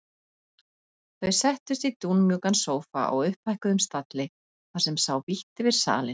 Þau settust í dúnmjúkan sófa á upphækkuðum stalli þar sem sá vítt yfir salinn.